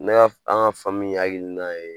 Ne ka an ka hakilina ye